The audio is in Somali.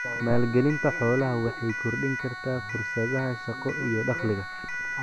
Maalgelinta xoolaha waxay kordhin kartaa fursadaha shaqo iyo dakhliga.